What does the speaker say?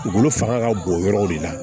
Dugukolo fanga ka bon yɔrɔw de la